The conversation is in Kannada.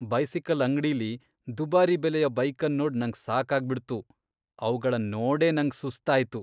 ಬೈಸಿಕಲ್ ಅಂಗ್ಡಿಲಿ ದುಬಾರಿ ಬೆಲೆಯ ಬೈಕನ್ ನೋಡ್ ನಂಗ್ ಸಾಕಾಗ್ ಬಿಡ್ತು. ಅವಗಳನ್ ನೋಡೇ ನಂಗ್ ಸುಸ್ತ್ ಆಯ್ತು.